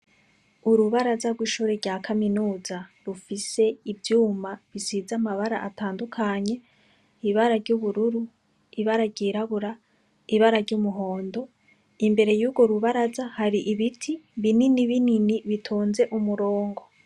Urubaraza rw'ishuri rya kaminuza rufise ivyuma bisize amabara atandukanye, ibara ry'ubururu, ibara ryirabura, ibara ry'umuhondo. Imbere y'urwo rubaraza hari ibiti binini binini bitonze umurongo.